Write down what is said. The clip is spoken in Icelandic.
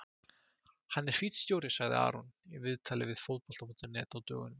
Hann er fínn stjóri, sagði Aron í viðtali við Fótbolta.net á dögunum.